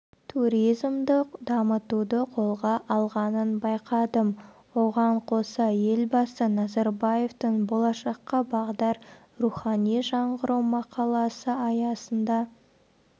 туризмді дамытуды қолға алғанын байқадым оған қоса елбасы назарбаевтың болашаққа бағдар рухани жаңғыру мақаласы аясында